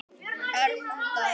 Öðrum til góðs.